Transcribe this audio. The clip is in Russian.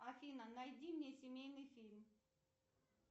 афина найди мне семейный фильм